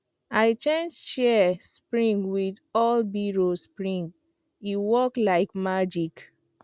i change shears spring with old biro spring e work like magic